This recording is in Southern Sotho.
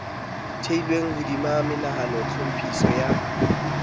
theilweng hodima monahano tlhophiso ya